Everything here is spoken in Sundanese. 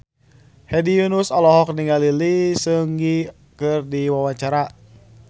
Hedi Yunus olohok ningali Lee Seung Gi keur diwawancara